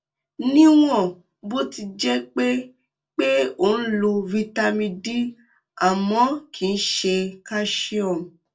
níwọn bó ti jẹ pé pé o ń lo vitamin d àmọ kìí ṣe calcium